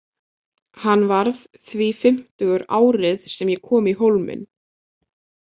Hann varð því fimmtugur árið sem ég kom í Hólminn.